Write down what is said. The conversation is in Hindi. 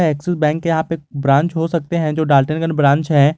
यह एक्सिस बैंक के यहां पे ब्रांच हो सकते हैं जो डाल्टनगंज ब्रांच है।